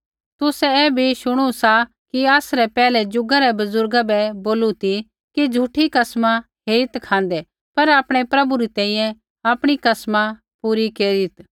तुसै ऐ भी शुणू सा कि आसरै पैहलै ज़ुगा रै बुज़ुर्ग बै बोलू ती कि झ़ूठी कसमा हेरीत् खाँदै पर आपणै प्रभु री तैंईंयैं आपणी कसमा पूरी केरीत्